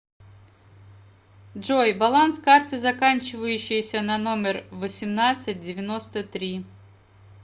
джой баланс карты заканчивающейся на номер восемнадцать девяносто три